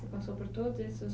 Você passou por todos esses